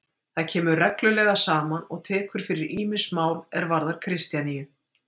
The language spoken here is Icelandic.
Það kemur reglulega saman og tekur fyrir ýmis mál er varðar Kristjaníu.